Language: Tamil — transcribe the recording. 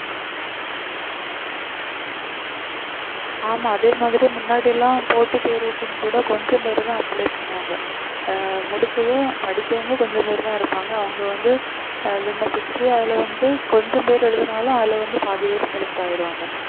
ஆமா அதே மாதிரி முன்னாடி எல்லாம் போட்டி தேர்வுக்கும் கூட கொஞ்ச பேருதான் apply பண்ணுவாங்க அஹ் முடிச்சதும் படிக்கவங்க கொஞ்சம் பேர் தான் இருப்பாங்க அவங்க வந்து அஹ் விண்ணப்பிச்சி அதுல வந்து கொஞ்சம் பேர் எழுதினாலும் அதுல வந்து பாதி பேர் select ஆயிருவாங்க